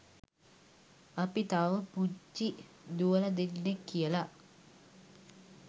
අපි තවම පුංචි දුවලා දෙන්නෙක් කියලා